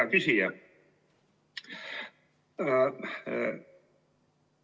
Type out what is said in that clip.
Hea küsija!